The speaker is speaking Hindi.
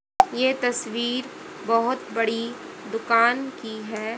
यह तस्वीर बहुत बड़ी दुकान की है।